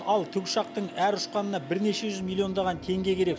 ал тікұшақтың әр ұшқанына бірнеше жүз миллиондаған теңге керек